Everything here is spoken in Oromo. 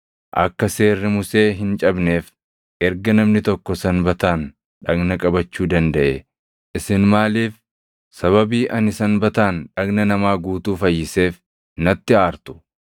Akka seerri Musee hin cabneef erga namni tokko Sanbataan dhagna qabachuu dandaʼee, isin maaliif sababii ani Sanbataan dhagna namaa guutuu fayyiseef natti aartu?